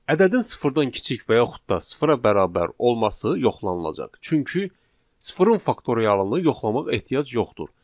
Ədədin sıfırdan kiçik və yaxud da sıfıra bərabər olması yoxlanılacaq, çünki sıfırın faktorialını yoxlamaq ehtiyac yoxdur.